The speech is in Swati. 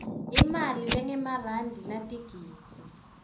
imali lengemarandi latigidzi